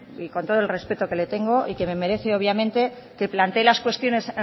y con todo el respeto que le tengo y que merece obviamente que plantee las cuestiones